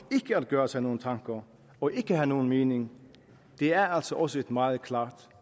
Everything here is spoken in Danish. gøre sig nogen tanker og ikke at have nogen mening er altså også et meget klart